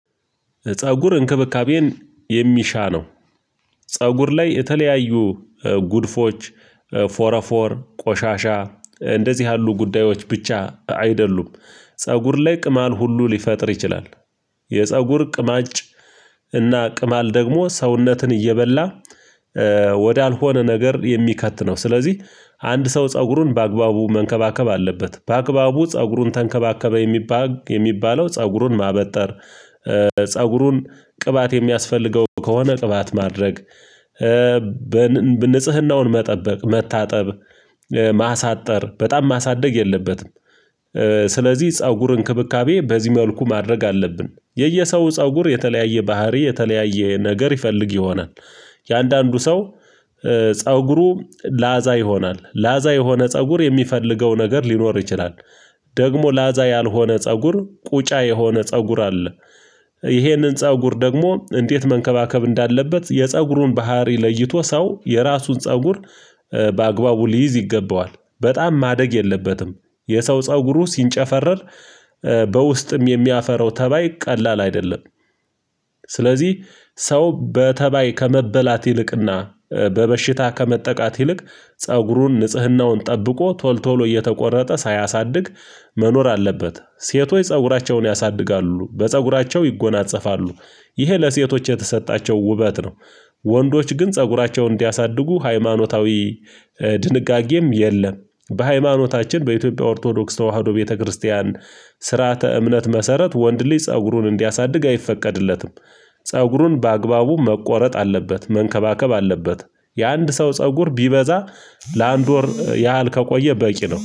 ፀጉር እንክብካቤን የሚሻ ነው። ፀጉር ላይ የተለያዩ ጉድፎች፥ ፎረፎር፥ ቆሻሻ እንደዚህ ያሉ ጉዳዮች ብቻ አይደሉም ፀጉር ላይ ቅማል ሁሉ ሊፈጥር ይችላል። የፀጉር ቅማጭ እና ቅማል ደግሞ ሰውነትን እየበላ ወደ አልሆነ ነገር የሚከት ነው። ስለዚህ አንድ ሰው ፀጉሩን በአግባቡ መንከባከብ አለበት። በአግባቡ ፀጉሩን ተንከባከበ የሚባል የሚባለው ፀጉሩን ማበጠር፥ ፀጉሩን ቅባት የሚያስፈልገው ከሆነ ቅባት ማድረግ፥ ንጽህናውን መጠበቅ፥ መታጠብ፥ ማሳጠር፥ በጣም ማሳደግ የለበትም። ስለዚህ ፀጉር እንክብካቤ በዚህ መልኩ ማድረግ አለብን። የየሰው ፀጉር የተለያየ ባህሪ የተለያየ ነገር ይፈልግ ይሆናል የአንዳንዱ ሰው ፀጉሩ ላዛ ይሆናል። ላዛ የሆነ ፀጉር የሚፈልገው ነገር ሊኖር ይችላል ደግሞ ላዛ ያልሆነ ፀጉር ቁጫ የሆነ ፀጉር አለ። ይሄንን ፀጉር ደግሞ እንዴት መንከባከብ እንዳለበት የፀጉሩን ባህሪ ለይቶ ሰው የራሱን ፀጉር በአግባቡ ሊይዝ ይገባዋል። በጣም ማደግ የለበትም የሰው ፀጉሩ ሲንጨፈረር በውስጥም የሚያፈራው ተባይ ቀላል አይደለም። ስለዚህ ሰው በተባይ ከመበላት ይልቅና በበሽታ ከመጠቃት ይልቅ ፀጉሩን፤ ንጽህናውን ጠብቆ ቶሎ ቶሎ እየተቆረጠ ሳያሳድግ መኖር አለበት። ሴቶች ፀጉራቸውን ያሳድጋሉ በፀጉራቸው ይጎናፀፋሉ ይሄ ለሴቶች የተሰጣቸው ውበት ነው። ወንዶች ግን ፀጉራቸውን እንዲያሳድጉ ሃይማኖታዊ ድንጋጌም የለም። በሃይማኖታችን በኢትዮጵያ ኦርቶዶክስ ተዋህዶ ቤተክርስቲያን ስርዓተ እምነት መሰረት ወንድ ልጅ ፀጉሩን እንዲያሳድግ አይፈቀድለትም ፀጉሩን በአግባቡ መቆረጥ አለበት፤ መንከባከብ አለበት። የአንድ ሰው ፀጉር ቢበዛ ለአንድ ወር ያህል ከቆየ በቂ ነው።